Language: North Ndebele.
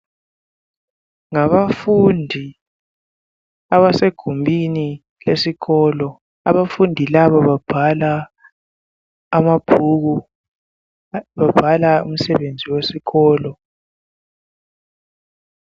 Ngabafundi abasegumbini lesikolo abafundi laba babhala amabhuku babhala umsebenzi wesikolo.